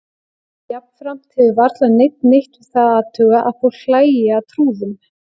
Jafnframt hefur varla neinn neitt við það að athuga að fólk hlæi að trúðum.